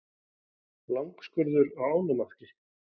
Langskurður á ánamaðki.